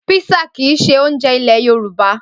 Písà kìí ṣe oúnjẹ ilé Yorùbá.